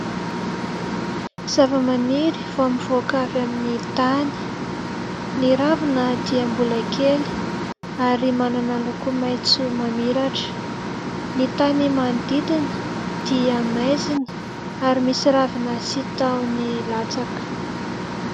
Zavamaniry vao mivoaka avy amin'ny tany. Ny ravina dia mbola kely ary manana loko maitso mamiratra. Ny tany manodidina dia maizina ary misy ravina sy tahony latsaka.